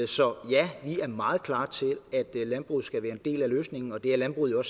så ja vi er meget klart til at landbruget skal være en del af løsningen og det er landbruget jo